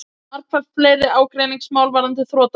Margfalt fleiri ágreiningsmál varðandi þrotabú